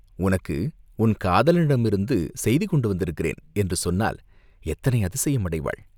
உனக்கு உன் காதலனிடமிருந்து செய்தி கொண்டு வந்திருக்கிறேன்!" என்று சொன்னால், எத்தனை அதிசயம் அடைவாள்!